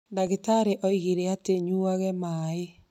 Ndagĩtarĩ oigire atĩ nyuage maaĩ